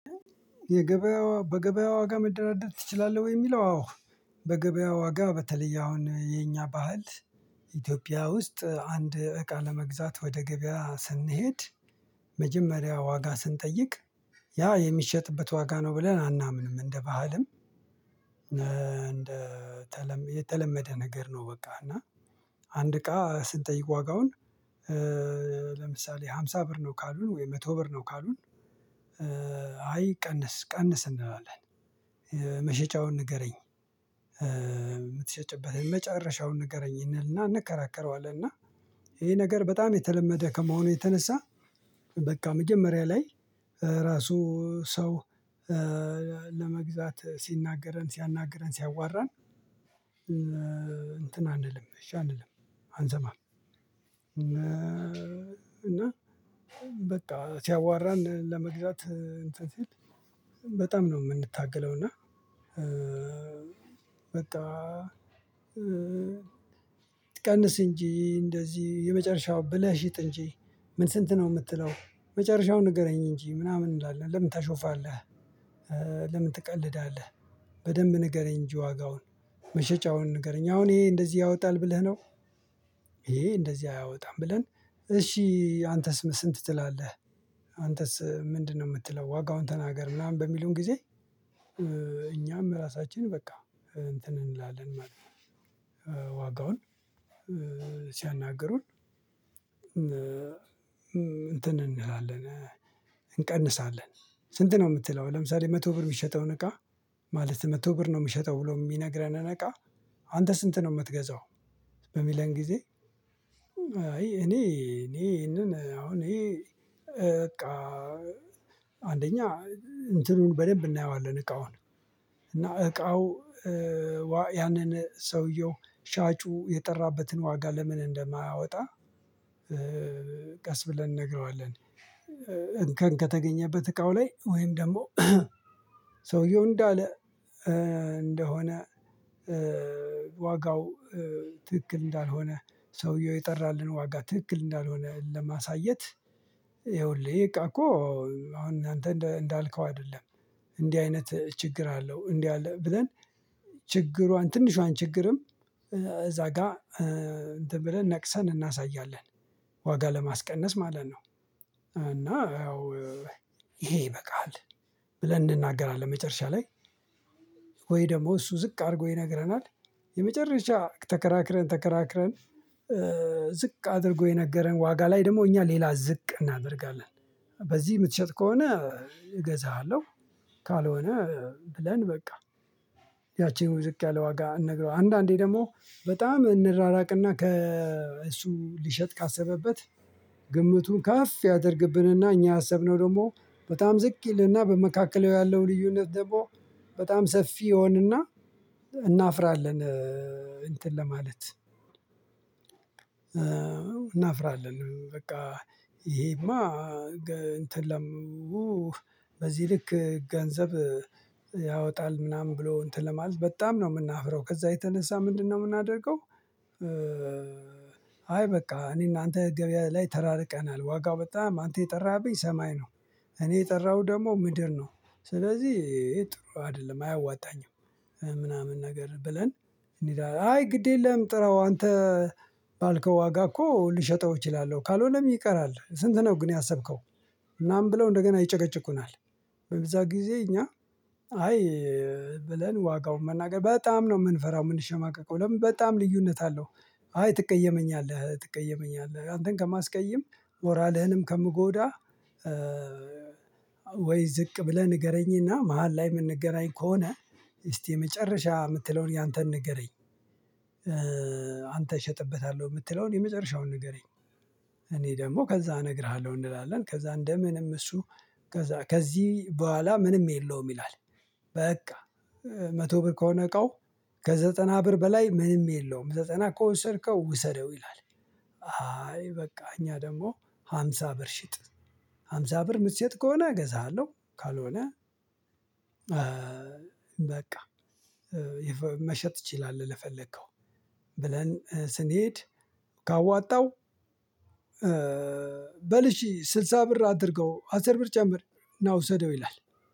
የገበያ በገበያ ዋጋ መደራደር ትችላለህ ወይ? የሚለው አዎ በገበያ ዋጋ በተለየ አሁን የኛ ባህል። ኢትዮጵያ ውስጥ አንድ እቃ ለመግዛት ወደ ገበያ ስንሄድ መጀመሪያ ዋጋ ስንጠይቅ ያ የሚሸጥበት ዋጋ ነው ብለን አናምንም እንደ ባህልም። የተለመደ ነገር ነው። በቃ እና አንድ እቃ ስንጠይቅ ዋጋውን። ለምሳሌ ሃምሳ ብር ነው ካሉን ወይ መቶ ብር ነው ካሉን። አይ ቀንስ ቀንስ እንለዋለን። መሸጫውን ንገረኝ የምትሸጭበትን የመጨረሻውን ንገረኝ እንከራከረዋለን። እና ይሄ ነገር በጣም የተለመደ ከመሆኑ የተነሳ በቃ መጀመሪያ ላይ እራሱ ሰው። ለመግዛት ሲናገረን ሲያናግረን ሲያዋራን እንትን አንልም እሺ አንልም። አንሰማም። እና በቃ ሲያዋራን ለመግዛት እንትን ሲል በጣም ነው የምንታገለው። እና በቃ ቀንስ እንጂ እንደዚህ የመጨረሻው ብለህ ሽጥ እንጂ ምን ስንት ነው የምትለው? መጨረሻውን ንገረኝ እንጂ ምናምን እንላለን ለምን ታሾፋለህ? ለምን ትቀልዳለህ? በደንብ ንገረኝ እንጂ ዋጋውን መሸጫውን ንገረኝ አሁን ይሄ እንደዚህ ያወጣል ብለህ ነው። ይሄ እንደዚህ አያወጣም ብለን እሺ አንተስ ስንት ትላለህ? አንተስ ምንድነው የምትለው ዋጋውን ተናገር ምናምን በሚሉን ጊዜ። እኛም ራሳችን በቃ እንትን እንላለን ማለት ነው። ዋጋውን ሲያናግሩን እንትን እንላለን እንቀንሳለን። ስንት ነው የምትለው ለምሳሌ መቶ ብር የሚሸጠውን እቃ ማለት መቶ ብር ነው የምሸጠው ብሎ የሚነግረንን እቃ አንተ ስንት ነው የምትገዛው። በሚለን ጊዜ። አይ እኔ እኔ ይሄንን አሁን ይሄ በቃ አንደኛ እንትኑን በደንብ እናየዋለን እቃውን እና እቃው ያንን ሰውየው ሻጩ የጠራበትን ዋጋ ለምን እንደማያወጣ። ቀስ ብለን እንነግረዋለን። እንከን ከተገኘበት እቃው ላይ ወይም ደግሞ ሰውየው እንዳለ እንደሆነ ዋጋው ትክክል እንዳልሆነ ሰውየው የጠራልን ዋጋ ትክክል እንዳልሆነ ለማሳየት። ይኸውልህ ይሄ እቃ እኮ አሁን አንተ እንዳልከው አይደለም። እንዲህ አይነት ችግር አለው እንዲህ አለ ብለን። ችግሯን ትንሿን ችግርም እዛ ጋር እንትን ብለን ነቅሰን እናሳያለን። ዋጋ ለማስቀነስ ማለት ነው። እና ይሄ ይበቃል። ብለን እንናገራለን መጨረሻ ላይ ወይ ደግሞ እሱ ዝቅ አድርጎ ይነግረናል። የመጨረሻ ተከራክረን ተከራክረን ዝቅ አድርጎ የነገረን ዋጋ ላይ ደግሞ እኛ ሌላ ዝቅ እናደርጋለን። በዚህ የምትሸጥ ከሆነ እገዛሃለሁ። ብለን በቃ ያቺውኑ ዝቅ ያለ ዋጋ እንነግራዋለን አንዳንዴ ደግሞ በጣም እንራራቅና ከእሱ ሊሸጥ ካሰበበት ግምቱን ከፍ ያደርግብንና እኛ ያሰብነው ደግሞ በጣም ዝቅ ይልና በመካከሉ ያለው ልዩነት ደግሞ በጣም ሰፊ ይሆንና። እናፍራለን እንትን ለማለት። እናፍራለን በቃ ይሄማ እንትን በዚህ ልክ ገንዘብ ያወጣል ምናምን ብሎ እንትን ለማለት በጣም ነው የምናፍረው። ከዛ የተነሳ ምንድነው የምናደርገው? አይ በቃ እኔና አንተ ገበያ ላይ ተራርቀናል ዋጋው በጣም አንተ የጠራህብኝ ሰማይ እኔ የጠራሁ ደግሞ ምድር ነው። ስለዚህ ጥሩ አይደለም አያዋጣኝም። ምናምን ነገር ብለን እንዲህ አይ ግድ የለም ጥራው አንተ ባልከው ዋጋ እኮ ልሸጠው እችላለሁ ካልሆነም ይቀራል ስንት ነው ግን ያሰብከው? እናም ብለው እንደገና ይጨቀጭቁናል። በዛ ጊዜ እኛ አይ ብለን ዋጋውን መናገር በጣም ነው የምንፈራው የምንሸማቀቀው ለምን በጣም ልዩነት አለው። አይ ትቀየመኛለህ ትቀየመኛለህ አንተን ከማስቀይም ሞራልህንም ከምጎዳ። ወይ ዝቅ ብለህ ንገረኝና መሃል ላይ የምንገናኝ ከሆነ። እስቲ የመጨረሻ የምትለውን ያንተን ንገረኝ። አንተ እሸጥበታለሁ የምትለውን የመጨረሻውን ንገረኝ። እኔ ደግሞ ከዛ እነግርሃለሁ እንላለን። ከዛ እንደ ምንም እሱ ከዛ ከዚህ በኋላ ምንም የለውም ይላል። በቃ መቶ ብር ከሆነ እቃው ከዘጠና ብር በላይ ምንም የለውም ዘጠና ከወሰድከው ውሰደው ይላል። አይ በቃ እኛ ደግሞ ሃምሳ ብር ሽጥ ሃምሳ ብር ምትሸጥ ከሆነ እገዛሃለሁ ካልሆነ። በቃ መሸጥ ትችላለህ ለፈለከው። ብለን ስንሄድ ካወጣው በል እሺ ስልሳ ብር አድርገው አስር ብር ጨምር ና ውሰደው ይላል።